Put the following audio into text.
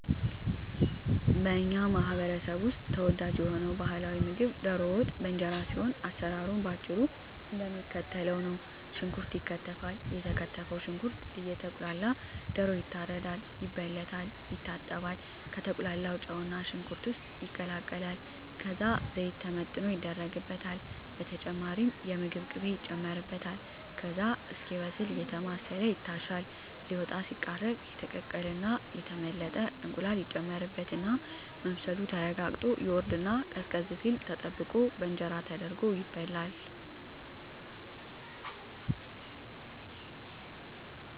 በኛ ማህበረሰብ ውስጥ ተወዳጅ የሆነው ባህላዊ ምግብ ደሮ ወጥ በእንጀራ ሲሆን አሰራሩም በአጭሩ እደሚከተለው ነው። ሽንኩርት ይከተፋል የተከተፈው ሽንኩርት እየቁላላ ደሮ ይታረዳል፣ ይበለታል፣ ይታጠባል፣ ከተቁላላው ጨውና ሽንኩርት ውስጥ ይቀላቀላል ከዛ ዘይት ተመጥኖ ይደረግበታል በተጨማሪም የምግብ ቅቤ ይጨመርበታል ከዛ እስኪበስል አየተማሰለ ይታሻል ሊወጣ ሲቃረብ የተቀቀለና የተመለጠ እንቁላል ይጨመርበትና መብሰሉ ተረጋግጦ ይወርድና ቀዝቀዝ ሲል ተጠብቆ በእንጀራ ተደርጎ ይበላል።